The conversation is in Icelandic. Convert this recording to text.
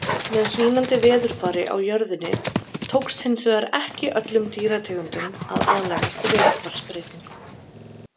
Með hlýnandi veðurfari á jörðinni tókst hins vegar ekki öllum dýrategundum að aðlagast veðurfarsbreytingum.